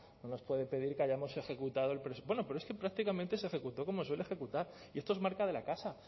no nos puede pedir que hayamos ejecutado el presupuesto bueno pero es que prácticamente se ejecutó como se suele ejecutar y esto es marca de la casa